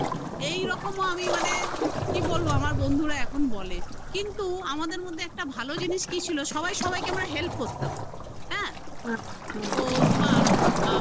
এইরকম ও আমি মানে কি বলব আমার বন্ধুরা এখন বলে কিন্তু আমাদের মধ্যে একটা ভালো জিনিস কি ছিল সবাই সবাইকে আমরা help করতাম হ্যা? তো তোমার